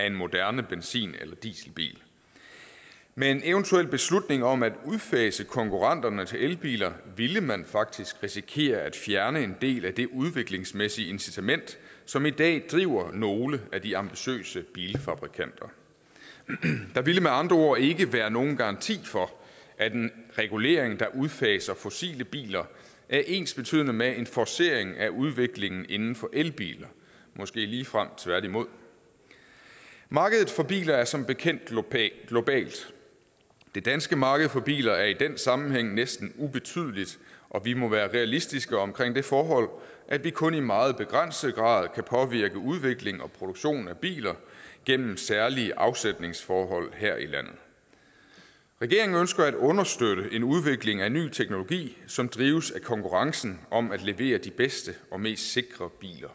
en moderne benzin eller dieselbil med en eventuel beslutning om at udfase konkurrenternes elbiler ville man faktisk risikere at fjerne en del af det udviklingsmæssige incitament som i dag driver nogle af de ambitiøse bilfabrikanter der ville med andre ord ikke være nogen garanti for at en regulering der udfaser fossile biler er ensbetydende med en forcering af udviklingen inden for elbiler måske ligefrem tværtimod markedet for biler er som bekendt globalt globalt det danske marked for biler er i den sammenhæng næsten ubetydeligt og vi må være realistiske omkring det forhold at vi kun i meget begrænset grad kan påvirke udvikling og produktion af biler gennem særlige afsætningsforhold her i landet regeringen ønsker at understøtte en udvikling af ny teknologi som drives af konkurrencen om at levere de bedste og mest sikre biler